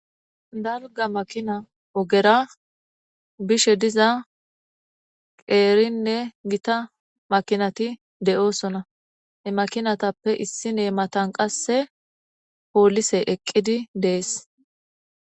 Dalgga makina ogera bishe diza qeerinne gita makinati de'oosona. he makinatappe issi nee matan qasse pooliseti eqqidi dees.